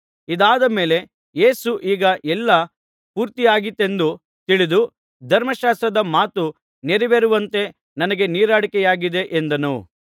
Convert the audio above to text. ಇದಾದ ಮೇಲೆ ಯೇಸು ಈಗ ಎಲ್ಲ ಪೂರ್ತಿಯಾಗಿದೆಯೆಂದು ತಿಳಿದು ಧರ್ಮಶಾಸ್ತ್ರದ ಮಾತು ನೆರವೇರುವಂತೆ ನನಗೆ ನೀರಡಿಕೆಯಾಗಿದೆ ಎಂದನು